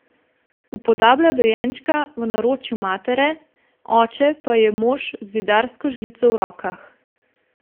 Upodablja dojenčka v naročju matere, oče pa je mož z zidarsko žlico v rokah.